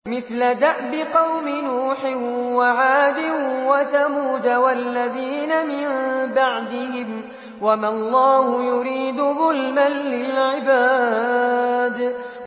مِثْلَ دَأْبِ قَوْمِ نُوحٍ وَعَادٍ وَثَمُودَ وَالَّذِينَ مِن بَعْدِهِمْ ۚ وَمَا اللَّهُ يُرِيدُ ظُلْمًا لِّلْعِبَادِ